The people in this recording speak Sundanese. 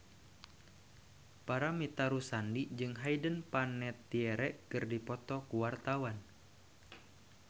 Paramitha Rusady jeung Hayden Panettiere keur dipoto ku wartawan